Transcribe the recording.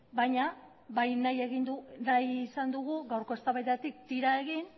baina bai nahi izan dugu gaurko eztabaidatik tira egin